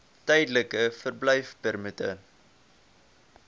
tydelike verblyfpermitte